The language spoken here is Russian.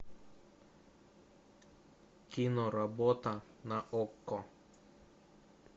киноработа на окко